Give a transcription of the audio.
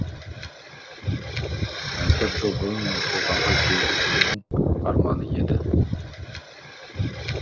төрт жыл бұрын нұр сұлтанға келу оның арманы еді